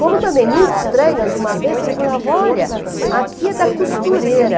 Como também muito estranhas, uma vez ele olha, aqui é da costureira.